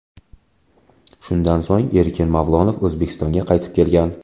Shundan so‘ng Erkin Mavlonov O‘zbekistonga qaytib kelgan.